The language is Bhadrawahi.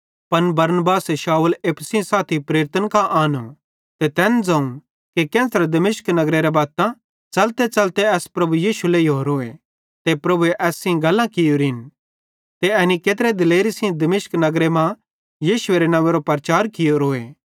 पन बरनबासे शाऊल एप्पू सेइं साथी प्रेरितन कां आनो ते तैन ज़ोवं कि केन्च़रे दमिश्क नगरेरे बत्तां च़लतेच़लते एस प्रभु यीशु लेइहोरोए ते प्रभुए एस सेइं गल्लां कियोरिन ते एनी केत्रे दिलेरी सेइं दमिश्क नगरे मां यीशुएरे नव्वेंरो प्रचार कियोरोए